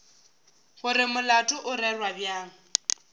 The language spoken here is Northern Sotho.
gore molato o rerwa bjang